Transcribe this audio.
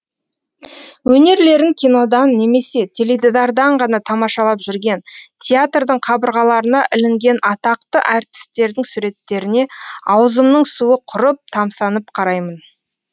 өнерлерін кинодан немесе теледидардан ғана тамашалап жүрген театрдың қабырғаларына ілінген атақты әртістердің суреттеріне аузымның суы құрып тамсанып қараймын